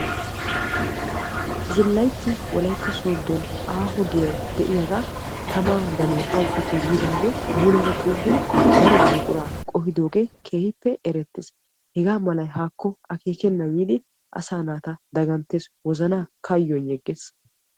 zillayitti wolaytta sooddon aaho giyay de'iyaga tamaa danoy awuppekko yiidaagee muleera xuuggidi daro buquraa qohidoogee keehippe erettes. Hegaa malay haakko akeekennan yiidi asaa naata daganttes, wozanaaka kayyoyiigges.